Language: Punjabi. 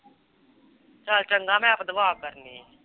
ਚੱਲ ਚੰਗਾ ਮੈ ਦੂਆ ਕਰਨੀ